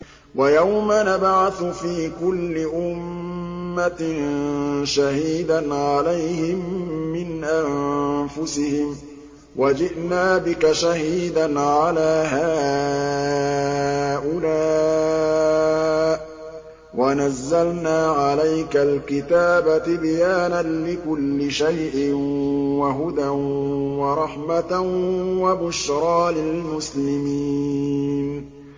وَيَوْمَ نَبْعَثُ فِي كُلِّ أُمَّةٍ شَهِيدًا عَلَيْهِم مِّنْ أَنفُسِهِمْ ۖ وَجِئْنَا بِكَ شَهِيدًا عَلَىٰ هَٰؤُلَاءِ ۚ وَنَزَّلْنَا عَلَيْكَ الْكِتَابَ تِبْيَانًا لِّكُلِّ شَيْءٍ وَهُدًى وَرَحْمَةً وَبُشْرَىٰ لِلْمُسْلِمِينَ